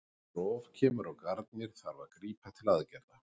Ef rof kemur á garnir þarf að grípa til aðgerðar.